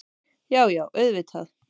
Já, já auðvitað.